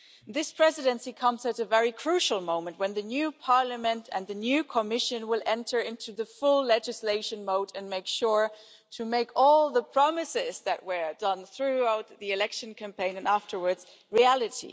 This Presidency comes at a very crucial moment, when the new Parliament and the new Commission will enter into full legislation mode and make sure to make all the promises that were given throughout the election campaign and afterwards reality.